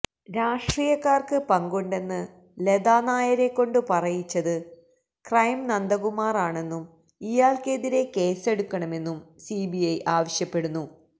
രാഷ്ട്രീയക്കാര്ക്ക് പങ്കുണ്ടെന്ന് ലതാനായരെക്കൊണ്ട് പറയിച്ചത് ക്രൈം നന്ദകുമാറാണെന്നും ഇയാള്ക്കെതിരേ കേസെടുക്കണമെന്നും സിബിഐ ആവശ്യപ്പെടുന്നു